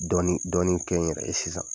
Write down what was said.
Dɔɔnin dɔɔnin kɛ n yɛrɛ ye sisan